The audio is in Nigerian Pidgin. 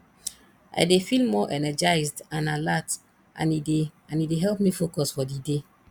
i dey feel more energized and alert and e dey and e dey help me focus for di day